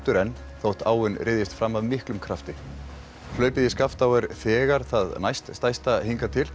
enn þótt áin fram af miklum krafti hlaupið í Skaftá er þegar það næst stærsta hingað til